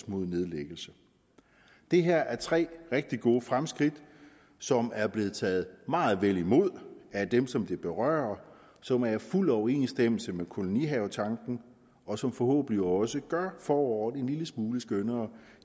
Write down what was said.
mod nedlæggelse det her er tre rigtig gode fremskridt som er blevet taget meget vel imod af dem som det berører som er i fuld overensstemmelse med kolonihavetanken og som forhåbentlig også gør foråret en lille smule skønnere